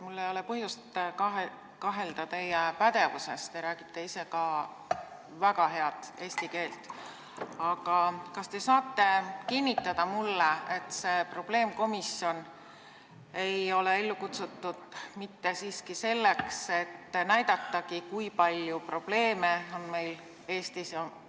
Mul ei ole põhjust kahelda teie pädevuses, te räägite ise väga head eesti keelt, aga kas te saate mulle kinnitada, et see probleemkomisjon ei ole ellu kutsutud mitte selleks, et näidata, kui palju keeleprobleeme meil Eestis on?